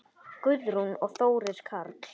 Guðrún og Þórir Karl.